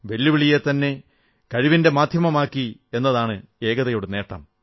വെല്ലുവിളിയെത്തന്നെ കഴിവിന്റെ മാധ്യമമാക്കി എന്നതാണ് ഏകതയുടെ നേട്ടം